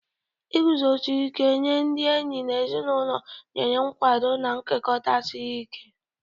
Iguzosi ike nye ndị enyi na ezinụlọ nyere nkwado na nkekọ siri ike.